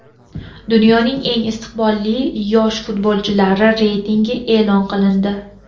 Dunyoning eng istiqbolli yosh futbolchilari reytingi e’lon qilindi.